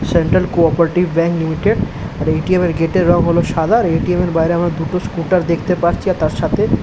Central co - operative bank limited আর ATM. এর gate এর রঙ হলো সাদা। আর এ.টি.এম. এর বাইরে আমরা দুটো স্কুটার দেখতে পারছি আর তার সাথে --